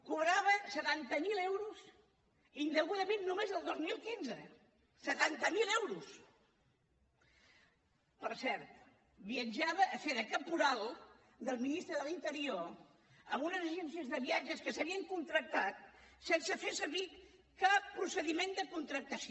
cobrava setanta mil euros indegudament només el dos mil quinze setanta mil euros per cert viatjava a fer de caporal del ministre de l’interior amb unes agències de viatge que s’havien contractat sense fer servir cap procediment de contractació